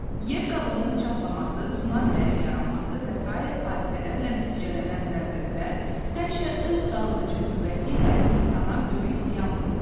Yer qabığının çatlaması, tsunamilərin yaranması və sair hadisələrlə nəticələnən zəlzələlər həmişə öz dağıdıcı qüvvəsi ilə insana böyük ziyan vurur.